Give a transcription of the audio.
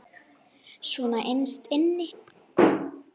Svona innst inni.